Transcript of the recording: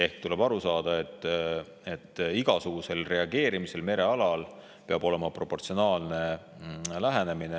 Ja tuleb aru saada, et igasugune reageerimine merealal peab olema proportsionaalne.